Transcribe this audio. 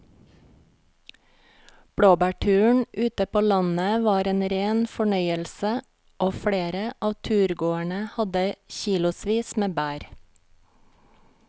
Blåbærturen ute på landet var en rein fornøyelse og flere av turgåerene hadde kilosvis med bær.